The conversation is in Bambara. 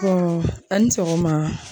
Bɔn ani sɔgɔma